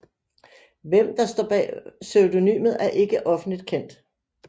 Hvem der står bag pseudonymet er ikke offentlig kendt